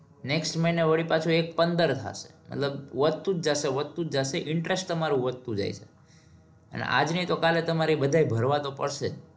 next મહિના વડી પાછું એક પંદર થશે. મતલબ વધતું જ જાશે વધતું જ જાશે. interest તમારું વધતું જાય. અને આજ નહિ તો કાલે તમારે એ બધાય ભરવા તો પડશે.